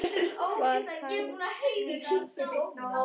Var henni það of gott?